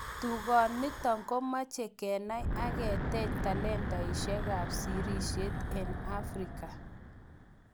Tugonitok komachei kenai ak keteech talentaisiekab sirisiet eng Afrika